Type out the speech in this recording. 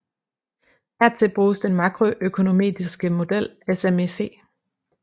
Hertil bruges den makroøkonometriske model SMEC